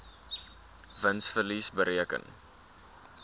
wins verlies bereken